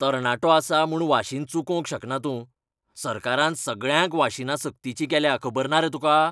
तरणाटो आसा म्हूण वाशीन चुकोवंक शकना तूं. सरकारान सगळ्यांक वाशिनां सक्तीचीं केल्यांत, खबर ना रे तुका?